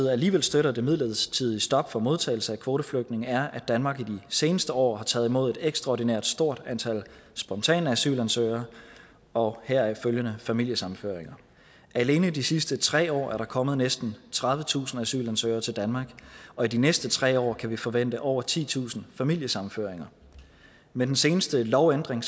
alligevel støtter det midlertidige stop for modtagelse af kvoteflygtninge er at danmark i de seneste år har taget imod et ekstraordinært stort antal spontane asylansøgere og heraf følgende familiesammenføringer alene i de sidste tre år er der kommet næsten tredivetusind asylansøgere til danmark og i de næste tre år kan vi forvente over titusind familiesammenføringer med den seneste lovændring